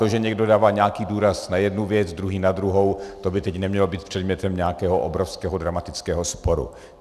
To, že někdo dává nějaký důraz na jednu věc, druhý na druhou, to by teď nemělo být předmětem nějakého obrovského dramatického sporu.